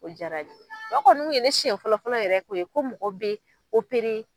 O diyara o kɔni kun ye ne senɲɛ fɔlɔ fɔlɔ yɛrɛ ye ko mɔgɔ bɛ